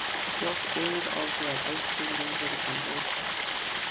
Hljóp eins og ég ætti lífið að leysa.